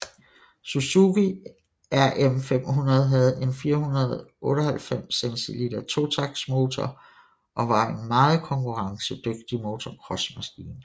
Suzuki rm500 havde en 498 cc totaktsmotor og var en meget konkurrencedygtig motocrossmaskine